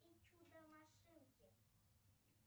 чудо машинки